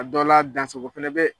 A dɔ la dansago fana bɛ.